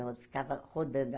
Eu ficava rodando.